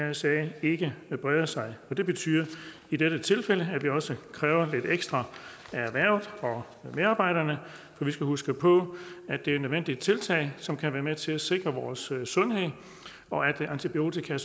mrsa ikke breder sig det betyder i dette tilfælde at vi også kræver lidt ekstra af erhvervet og af medarbejderne men vi skal huske på at det er nødvendige tiltag som kan være med til at sikre vores sundhed og at antibiotika